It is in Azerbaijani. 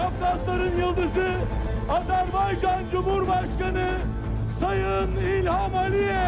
Topraqların ulduzu, Azərbaycan Cümhurbaşqanı Sayın İlham Əliyev.